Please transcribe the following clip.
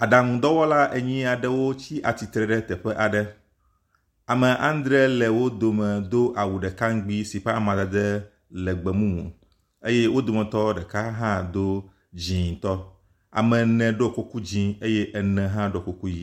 Aɖaŋu dɔwɔla enyi aɖewo tsi atsitre ɖe teƒe aɖe, ame adre le wo dome si ke do awu ɖeka ŋugbi si awun ƒe amadede le gbemumu eye wo dometɔ ɖeka hã do dzɛ̃tɔ. Ame ene ɖo kuku dzɛ̃ eye ene hã ɖo kuku ʋɛ̃.